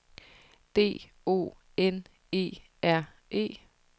D O N E R E